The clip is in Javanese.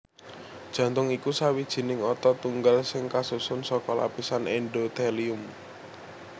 Jantung iku sawijining otot tunggal sing kasusun saka lapisan endothelium